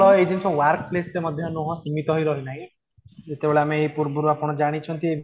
ତ ଏଇ ଜିନିଷ workplace ରେ ମଧ୍ୟ ନୁହଁ ସୀମିତ ହୋଇରହିନାହିଁ ଯେତେବେଳେ ଆମେ ଏହି ପୂର୍ବରୁ ଆପଣ ଜାଣିଛନ୍ତି